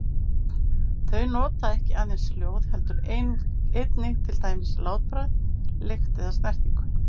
Þau nota ekki aðeins hljóð heldur einnig til dæmis látbragð, lykt eða snertingu.